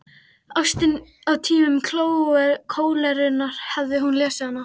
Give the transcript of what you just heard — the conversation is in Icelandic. Ástin á tímum kólerunnar, hafði hún lesið hana?